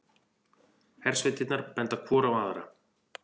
Hersveitirnar benda hvor á aðra